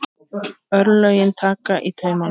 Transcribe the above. Örlögin taka í taumana